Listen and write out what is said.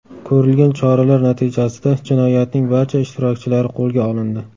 Ko‘rilgan choralar natijasida jinoyatning barcha ishtirokchilari qo‘lga olindi.